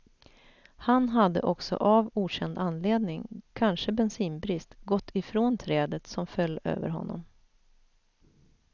Han hade också av okänd anledning, kanske bensinbrist, gått ifrån trädet, som föll över honom.